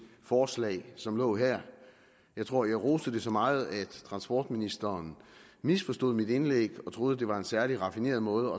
forslag som lå her jeg tror jeg roste det så meget at transportministeren misforstod mit indlæg og troede det var en særlig raffineret måde